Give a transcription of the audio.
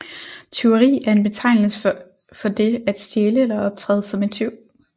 Tyveri er en betegnelse for det at stjæle eller optræde som tyv